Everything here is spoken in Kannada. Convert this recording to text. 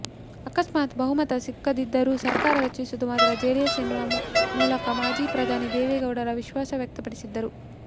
ಅಕಸ್ಮಾತ್ ಬಹುಮತ ಸಿಕ್ಕದಿದ್ದರೂ ಸರ್ಕಾರ ರಚಿಸುವುದು ಮಾತ್ರ ಜೆಡಿಎಸ್ ಎನ್ನುವ ಮೂಲಕ ಮಾಜಿ ಪ್ರಧಾನಿ ದೇವೇಗೌಡರು ವಿಶ್ವಾಸವ್ಯಕ್ತಪಡಿಸಿದ್ದರು